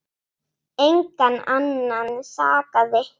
Engan annan sakaði.